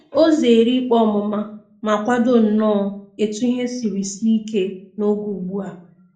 O zeere ikpe ọmụma ma kwado nnọọ etu ihe siri sie ike n'oge ugbu a.